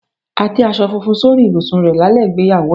A tẹ́ aṣọ funfun sórí ibùsùn rẹ̀ lálẹ́ ìgbéyàwó ẹ̀.